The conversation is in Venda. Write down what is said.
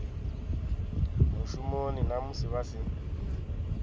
mushumoni na musi vha si